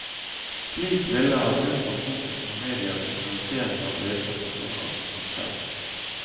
Slik ville han unngå fokus fra media og kriminalisering av ledende personer som han selv.